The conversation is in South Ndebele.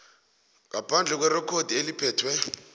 ngaphandle kwerekhodi eliphethe